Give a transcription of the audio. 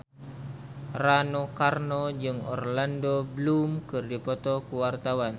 Rano Karno jeung Orlando Bloom keur dipoto ku wartawan